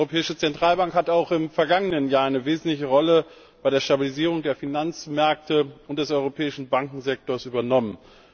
Die Europäische Zentralbank hat auch im vergangenen Jahr eine wesentliche Rolle bei der Stabilisierung der Finanzmärkte und des europäischen Bankensektors übernommen.